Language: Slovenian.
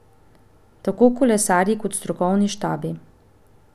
Tako kolesarji kot strokovni štabi.